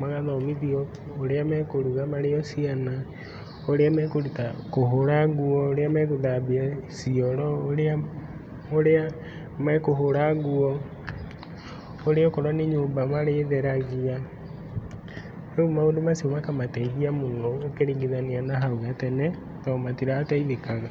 magathomithio ũrĩa mekũruga marĩ o ciana ũrĩa mekũhũra nguo ũrĩa megũthambia cioro, na ũrĩa mekũhũra nguo ũrĩa okorwo nĩ nyũmba marĩ theragia, rĩu maũndũ macio makamateithia mũno ũkĩringithania na hau gatene tondũ matirateithĩkaga.